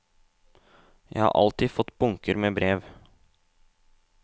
Jeg har alltid fått bunker med brev.